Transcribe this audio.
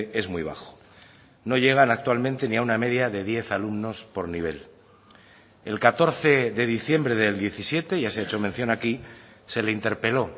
es muy bajo no llegan actualmente ni a una media de diez alumnos por nivel el catorce de diciembre del diecisiete ya se ha hecho mención aquí se le interpeló